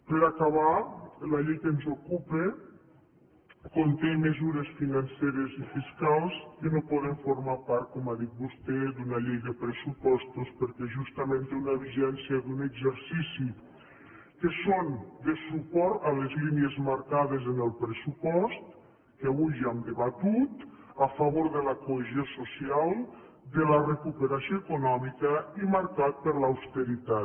per acabar la llei que ens ocupa conté mesures financeres i fiscals que no poden formar part com ha dit vostè d’una llei de pressupostos perquè justament té una vigència d’un exercici que són de suport a les línies marcades en el pressupost que avui ja hem debatut a favor de la cohesió social de la recuperació econòmica i marcat per l’austeritat